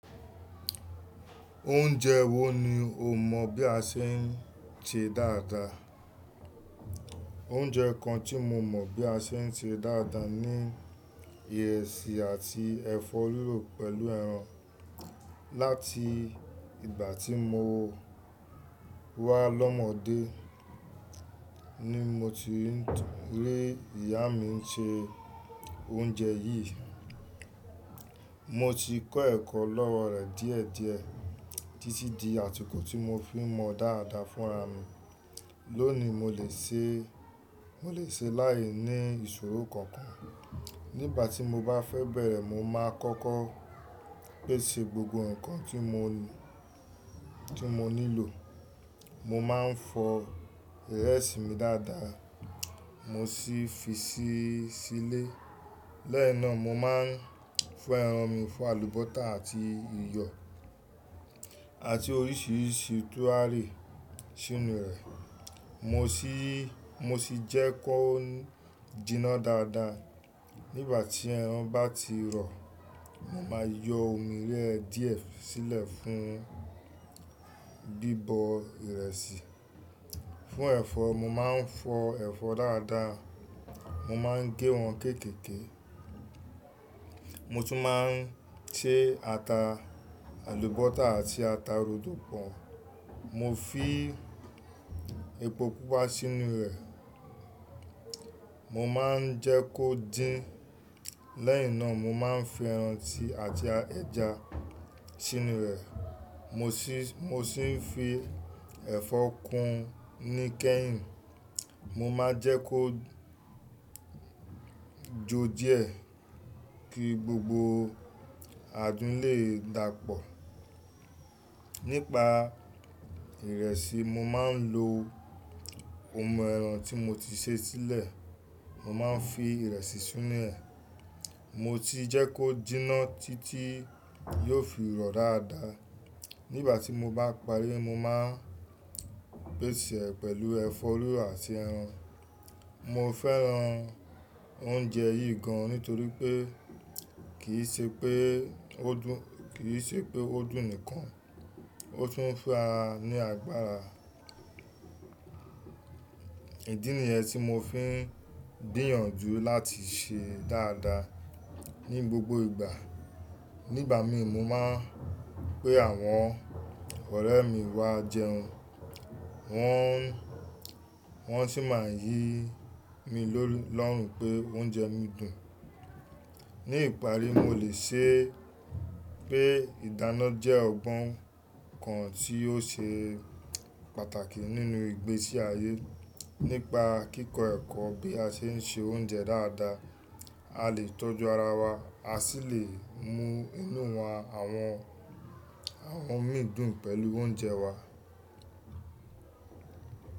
Oúnjẹ wo ni o mọ̀ bí a ṣe ń se dáadáa? Oúnjẹ kan tí mo mọ̀ bí a ṣe ń ṣe dáadáa ni ìrẹsì àti ẹ̀fọ́ rírọ̀ pẹ̀lú ẹran. Lati ìgbà tí mo wá lọ́mọdé ni mo ti n rí ìyá mi n ṣe oúnjẹ yìí. Mo ti kọ́ ẹ̀kọ́ lọ́wọ́ rẹ̀ díẹ̀ díẹ̀ títí di àsíkò tí mo fi ń mọ dáadáa fún ara mi. Lónìí mo lè ṣe, mo lè ṣe láìní ìṣòro kankan. Nígbà tí mo bá fẹ́ bẹ̀rẹ̀ mo máa kọ́kọ́ pèsè gbogbo nǹkan tí mo, tí mo nílò. Mo máa ń fọ ìrẹsì mi dáadáa mo sì fi si sílé. Lẹ́ẹ́yi nà mo máa ń fọ ẹran mi, fọ àlùbọ́tà àti iyọ̀ àti oríṣiríṣi túwárì sínú rẹ̀. Mo sì, mo sì jẹ́ kó jinná dáadáa. Nígbà tí ẹran bá ti rọ, mo máa yọ omi rẹ̀ díẹ̀ sílẹ̀ fún bíbọ ìrẹsì. Fún ẹ̀fọ́, mo máa ń fọ ẹ̀fọ́ dáadáa. Mo máa ń gé wọn kéékèèké. Mo tún máa ń ṣe ata, àlùbọ́tà àti ata rodo pọ̀n. Mo fi epo pupa sínú rẹ̀. Mo máa ń jẹ́ kó dín. Lẹ́ẹ́yi nà mo máa ń fi ẹran tí àti ẹja sínú rẹ̀. Mo sì, mo sì fi ẹ̀fọ́ kun ní kẹ́hìn. Mo máa jẹ́ kó jó díẹ̀ kí gbogbo adùn lè dàpọ̀. Nípa ìrẹsì, mo máa ń lo omi ẹran tí mo ti ṣe sílẹ̀. Mo máa ń fi ìrẹsì sínú rẹ̀. Mo sì jẹ́ kó jinná títí yóò fi rọ dáadáa. Nígbà tí mo bá parí mo máa ń pèsè rẹ̀ pẹ̀lú ẹ̀fọ́ rírọ̀ àti ẹran. Mo fẹ́ran oúnjẹ yìí gan nítorí pé kì í ṣe pé ó dùn, kì í ṣe pé ó dùn nìkan, ó tún ń fún ara ní agbára. Ìdí nìyẹn tí mo fi ń gbìyànju láti sè é dáadáa ní gbogbo ìgbà. Nígbà mi mo máa ń pe àwọn ọ̀rẹ́ mi wá jẹun. Wọn, wọ́n sì máa ń yí mi lórun pé oúnjẹ mi dùn. Ní ìparí, mo lè ṣe pé ìdáná jẹ́ ọgbọ́n kan tí yóò ṣe pàtàkì nínú ìgbésí ayé. Nípa kíkọ ẹ̀kọ́ bí a ṣe ń se oúnjẹ dáadáa, a lè tọ́jú ara wa, a sì lè mú inú wa, àwọn, àwọn mi dùn pẹ̀lú oúnjẹ wa.